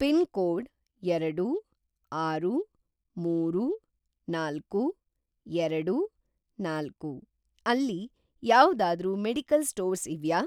Pin code ಎರಡು, ಆರು, ಮೂರು, ನಾಲ್ಕು, ಎರಡು, ನಾಲ್ಕು ಅಲ್ಲಿ ಯಾವ್ದಾದ್ರೂ ಮೆಡಿಕಲ್‌ ಸ್ಟೋರ್ಸ್ ಇವ್ಯಾ?